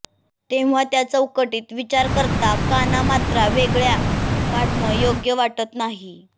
तेव्हा त्या चौकटीत विचार करता कानामात्रा वेगळ्या काढणं योग्य वाटत नाही